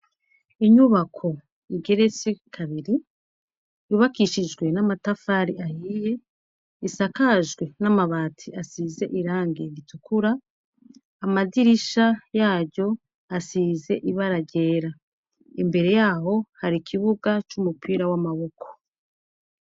inyubako igeretse kabiri yubakishijwe n'amatafari ahiye isakajwe n'amabati asize irange ritukura amadirisha yaryo asize ibara ryera imbere yaho hari ikibuga c'umupira w'amaboko